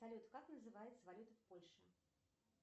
салют как называется валюта в польше